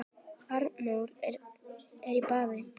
Arnór er í baði